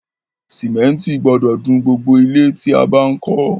Cémétì gbodò dun gbogbo ilẹ́ tí a bá n kó